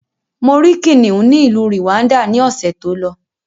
Mo rí kìnnìún ni ìlú Rwanda ni ọ̀sẹ̀ tó lọ.